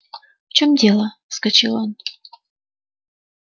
в чём дело вскочил он